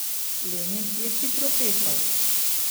Lenin je hitro pešal.